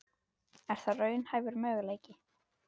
Er það raunhæfur möguleiki?